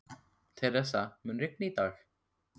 Theresa, mun rigna í dag?